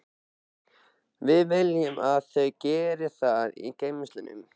Við viljum að þau geri það í geymslunum.